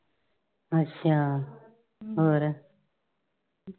ਅੱਛਾ। ਹੋਰ